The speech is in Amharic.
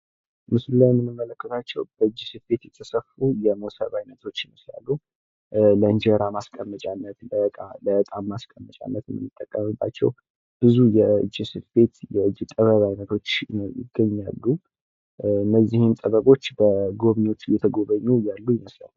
በምስሉ ላይ የምንመለከተው በእጅ ስፌት የተሰፉ የሞሰብ አይነቶች ሊሆኑ ይችላሉ። የእንጀራ ማስቀመጫነት የእቃ ማስቀመጫነት የምንጠቀምባቸው ብዙ የእጅ ስፌት የእጅ ጥበቦች ይገኛሉ። እነዚህ ጥበቦች በጎብኝወች እየተጎበኙ ያሉ ይመስላሉ።